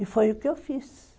E foi o que eu fiz.